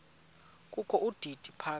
kokho udidi phaka